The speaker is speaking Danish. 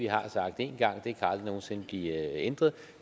har sagt en gang aldrig nogen sinde kan blive ændret